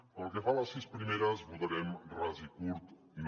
pel que fa a les sis primeres votarem ras i curt no